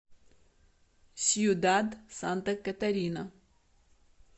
сьюдад санта катарина